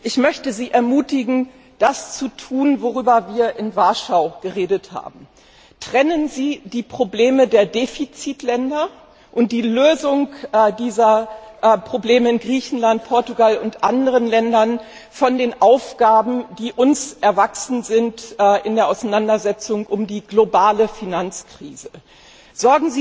Ich möchte Sie ermutigen, das zu tun, worüber wir in Warschau geredet haben Trennen Sie die Probleme der Defizitländer und die Lösung dieser Probleme in Griechenland, Portugal und anderen Ländern von den Aufgaben, die uns in der Auseinandersetzung um die globale Finanzkrise erwachsen sind!